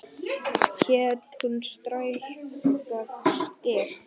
Hét hún Skrækja Skyr?